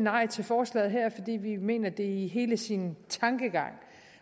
nej til forslaget her fordi vi mener at det i hele sin tankegang